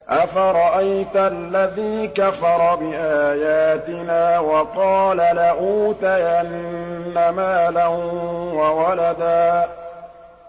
أَفَرَأَيْتَ الَّذِي كَفَرَ بِآيَاتِنَا وَقَالَ لَأُوتَيَنَّ مَالًا وَوَلَدًا